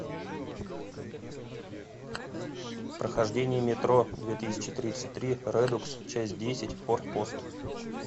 прохождение метро две тысячи тридцать три редукс часть десять форпост